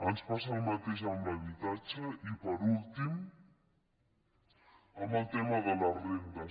ens passa el mateix amb l’habitatge i per últim amb el tema de les rendes